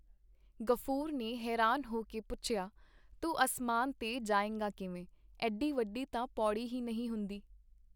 ਗ਼ਫੂਰ ਨੇ ਹੈਰਾਨ ਹੋ ਕੇ ਪੁੱਛਿਆ, ਤੂੰ ਅਸਮਾਨ ਤੇ ਜਾਏਂਗਾ ਕਿਵੇਂ? ਏਡੀ ਵੱਡੀ ਤਾਂ ਪੌੜੀ ਹੀ ਨਈਂ ਹੁੰਦੀ.